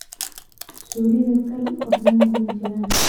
Zuulika kaal qofnan kumajiran.